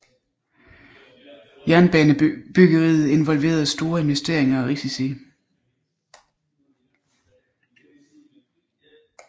Jernbanebyggeriet involverede store investeringer og risici